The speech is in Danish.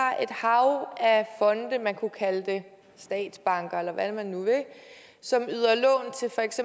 har et hav af fonde man kunne kalde dem statsbanker eller hvad man nu vil som yder